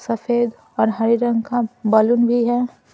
सफेद और हरे रंग का बलून भी है।